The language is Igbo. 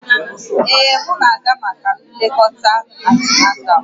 Ee, m na-aga maka nlekọta antinatal